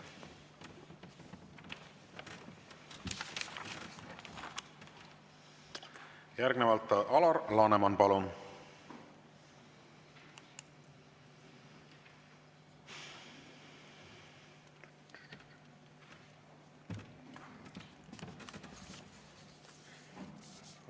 Järgnevalt Alar Laneman, palun!